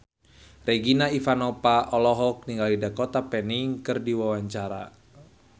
Regina Ivanova olohok ningali Dakota Fanning keur diwawancara